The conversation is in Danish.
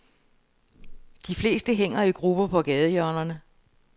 De fleste hænger i grupper på gadehjørnerne.